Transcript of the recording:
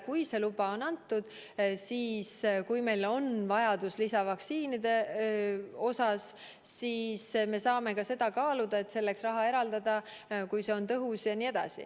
Kui luba on antud ja kui meil on vaja lisavaktsiini, siis me saame kaaluda, kas eraldada selleks raha, kui see on tõhus.